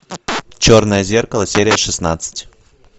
черное зеркало серия шестнадцать